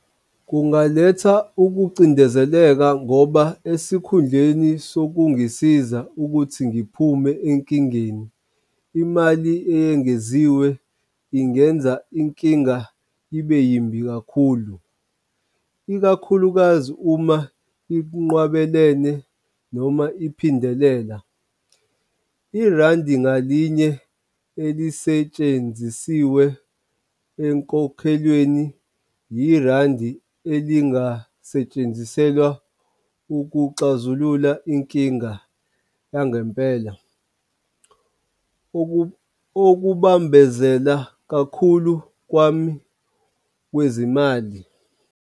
Kungaletha ukucindezeleka ngoba esikhundleni sokungisiza ukuthi ngiphume enkingeni, imali eyengeziwe ingenza inkinga ibe yimbi kakhulu, ikakhulukazi uma inqwabelene noma iphindelela. Irandi ngalinye elisetshenzisiwe enkokhelweni yirandi elingasetshenziselwa ukuxazulula inkinga yangempela. Okubambezela kakhulu kwami kwezimali.